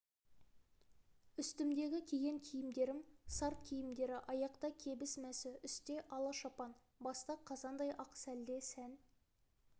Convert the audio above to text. үстімдегі киген киімдерім сарт киімдері аяқта кебіс мәсі үсте ала шапан баста қазандай ақ сәлде сән